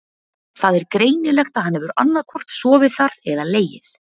Það er greinilegt að hann hefur annaðhvort sofið þar eða legið.